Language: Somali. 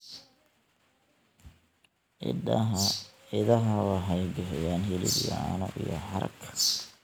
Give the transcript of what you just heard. Idaha waxay bixiyaan hilib iyo caano, iyo harag.